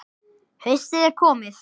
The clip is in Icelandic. Haustið er komið.